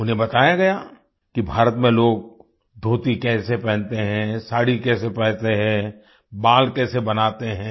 उन्हें बताया गया कि भारत में लोग धोती कैसे पहनते हैं साड़ी कैसे पहनते हैं बाल कैसे बनाते हैं